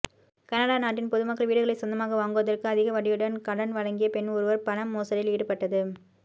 Canada நாட்டில் பொதுமக்கள் வீடுகளை சொந்தமாக வாங்குவதற்கு அதிக வட்டியுடன் கடன் வழங்கிய பெண் ஒருவர் பண மோசடியில் ஈடுபட்டது